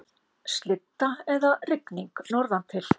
Slydda eða rigning norðantil